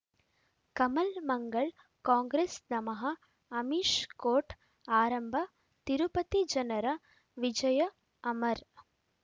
Kamal Mangal Congress ನಮಃ Amish court ಆರಂಭ ತಿರುಪತಿ ಜನರ ವಿಜಯ ಅಮರ್